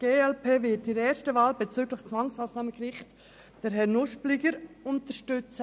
Die glp wird in der ersten Wahl bezüglich des Zwangsmassnahmengerichts Herrn Nuspliger unterstützen.